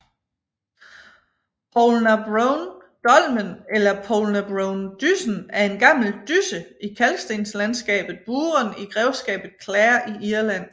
Poulnabrone Dolmen eller Poulnabronedyssen er en gammel dysse i kalkstenslandskabet Burren i grevskabet Clare i Irland